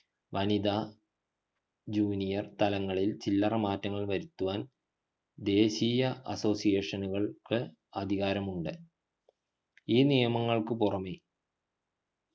വനിതാ junior തലങ്ങളിൽ ചില്ലറ മാറ്റങ്ങൾ വരുത്തുവാൻ ദേശിയ association നുകൾക്ക് അധികാരമുണ്ട് ഈ നിയമങ്ങൾക്കു പുറമേ